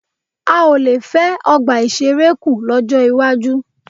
A ò le fẹ́ ọgbà ìṣeré kù lọ́jọ́ iwájú.